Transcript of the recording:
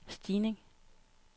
stigning